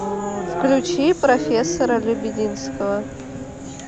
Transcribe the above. включи профессора лебединского